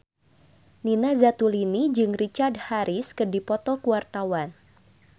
Nina Zatulini jeung Richard Harris keur dipoto ku wartawan